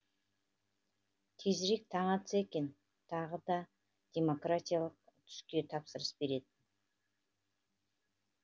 тезірек таң атса екен тағы да демократиялық түске тапсырыс беретін